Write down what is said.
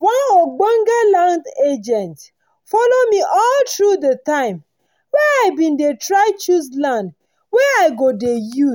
one ogbonge land agent follow me all tru d time wen i bin dey try choose land wey i go dey use